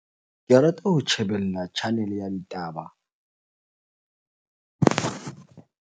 Ke rata ho tjhebella channel-e ya ditaba.